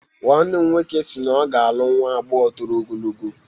Nwannem nwoke si na ọ ga-alụ nwa agbọghọ toro ogologo